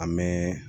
An bɛ